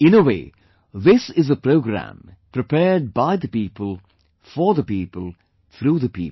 In a way, this is a programme prepared by the people, for the people, through the people